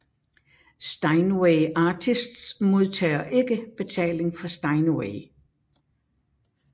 Steinway Artists modtager ikke betaling fra Steinway